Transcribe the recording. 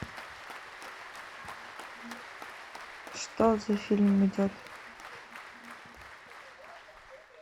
что за фильм идет